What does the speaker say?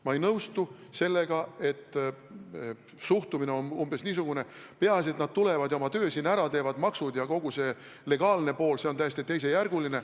Ma ei nõustu sellega, et suhtumine on umbes niisugune, et peaasi, et nad tulevad ja oma töö siin ära teevad, maksud ja kogu legaalne pool on täiesti teisejärguline.